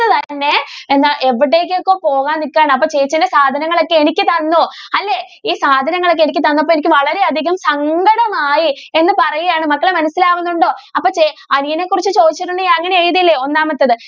തന്നെ എന്താ എവിടേക്കോ പോകാൻ നിക്കുകയാണ്. അപ്പൊ ചേച്ചിടെ സാധനങ്ങൾ ഒക്കെ എനിക്ക് തന്നു അല്ലെ ഈ സാധനങ്ങൾ ഒക്കെ എനിക്ക് തന്നപ്പോൾ എനിക്ക് വളരെ അധികം സങ്കടം ആയി എന്ന് പറയുവാണ് മക്കളെ മനസിലാകുന്നുണ്ടോ? അപ്പൊ ചേ അനിയനെ കുറിച്ച് ചോദിച്ചിട്ടുണ്ടെങ്കിൽ അങ്ങനെ എഴുതില്ലേ ഒന്നാമത്തേത്.